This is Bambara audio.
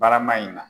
Barama in na